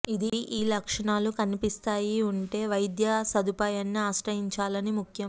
ఇది ఈ లక్షణాలు కనిపిస్తాయి ఉంటే వైద్య సదుపాయాన్ని ఆశ్రయించాలని ముఖ్యం